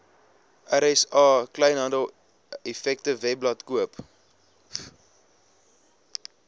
rsa kleinhandeleffektewebblad koop